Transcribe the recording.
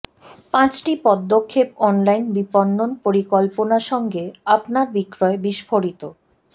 পাঁচটি পদক্ষেপ অনলাইন বিপণন পরিকল্পনা সঙ্গে আপনার বিক্রয় বিস্ফোরিত